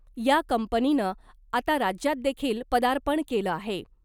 या कंपनीनं आता राज्यात देखील पदार्पण केलं आहे .